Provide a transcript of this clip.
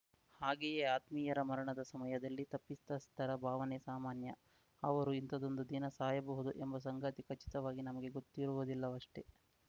ಹಾಗೆಯೇ ಆತ್ಮೀಯರ ಮರಣದ ಸಮಯದಲ್ಲಿ ತಪ್ಪಿತಸ್ಥರ ಭಾವನೆ ಸಾಮಾನ್ಯ ಅವರು ಇಂಥದೊಂದು ದಿನ ಸಾಯಬಹುದು ಎಂಬ ಸಂಗತಿ ಖಚಿತವಾಗಿ ನಮಗೆ ಗೊತ್ತಿರುವುದಿಲ್ಲವಷ್ಟೆ